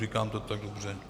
Říkám to tak dobře?